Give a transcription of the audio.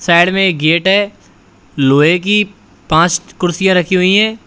Side में एक gate है लोहे की पांच कुर्सियां रखी हुई हैं।